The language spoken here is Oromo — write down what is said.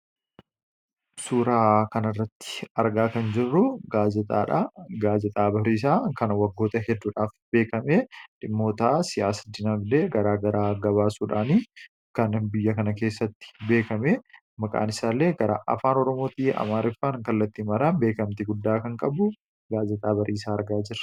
Suuraa kanarratti argaa kan jirruu gaazexaadha. Gaazexaa Bariisaa kan waggoota hedduudhaaf beekame, dhimmoota siyaasa dinagdee garaa garaa gabaasuudhaani kan biyya kana keessatti beekame maqaan isaallee gara afaan Oromootii Amaariffaan kallattii maraan beekamtii guddaa kan qabu gaazexaa Bariisaa argaa jirra.